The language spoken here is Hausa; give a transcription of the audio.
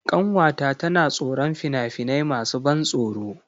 Ƙanwata tana tsoron fina-finai masu ban tsoro.